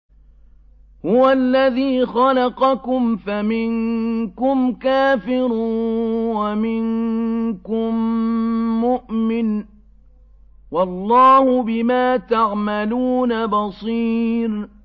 هُوَ الَّذِي خَلَقَكُمْ فَمِنكُمْ كَافِرٌ وَمِنكُم مُّؤْمِنٌ ۚ وَاللَّهُ بِمَا تَعْمَلُونَ بَصِيرٌ